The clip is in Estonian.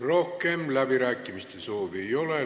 Rohkem läbirääkimiste soovi ei ole.